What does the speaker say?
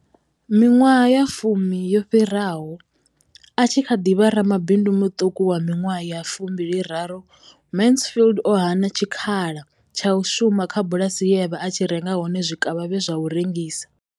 Miṅwaha ya fumi yo fhiraho, a tshi kha ḓi vha ramabindu muṱuku wa miṅwaha ya 23, Mansfield o hana tshikhala tsha u shuma kha bulasi ye a vha a tshi renga hone zwikavhavhe zwa u rengisa.